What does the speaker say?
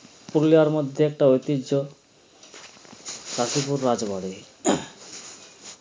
পুরুলিয়ার মধ্যে একটা ঐতিহ্য কাশিপুর রাজবাড়ী